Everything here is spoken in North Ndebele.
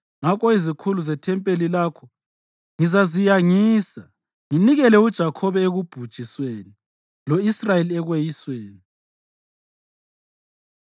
Ngakho izikhulu zethempelini lakho ngizaziyangisa; nginikele uJakhobe ekubhujisweni lo-Israyeli ekweyisweni.”